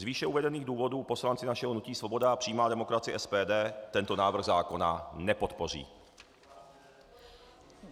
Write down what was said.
Z výše uvedených důvodů poslanci našeho hnutí Svoboda a přímá demokracie, SPD, tento návrh zákona nepodpoří.